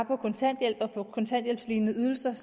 på kontanthjælp og på kontanthjælpslignende ydelser